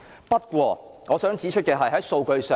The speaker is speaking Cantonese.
不過，我想指出有關警員犯罪的數字。